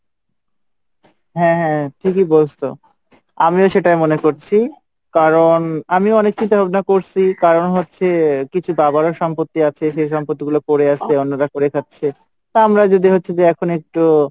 হ্যাঁ ঠিকই বলছ আমিও সেটাই করছি কারন আমি হচ্ছে যে করছি কারন হচ্ছে যে কিছু বাবার সম্পত্তি আছে সেই সম্পত্তি পড়ে আছে অন্যরা খাচ্ছে যে তা আমরা যদি হচ্ছে যে এখন যদি একটু,